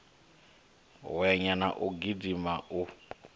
hwenya na u gidima u